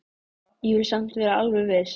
Ég vil samt vera alveg viss.